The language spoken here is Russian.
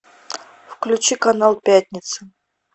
включи канал пятница